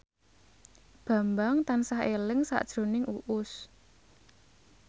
Bambang tansah eling sakjroning Uus